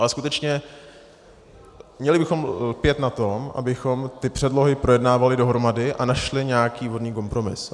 Ale skutečně měli bychom lpět na tom, abychom ty předlohy projednávali dohromady a našli nějaký vhodný kompromis.